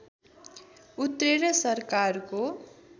उत्रेर सरकारको